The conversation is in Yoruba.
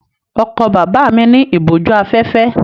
Ọkọ̀ bàbá mi ní ìbòjú-afẹ́fẹ́.